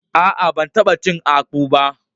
A'a, ban tabba cin akpu ba.